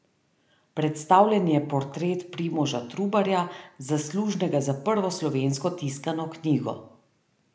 Predstavljen je portret Primoža Trubarja, zaslužnega za prvo slovensko tiskano knjigo.